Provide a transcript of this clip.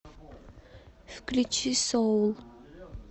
включи соул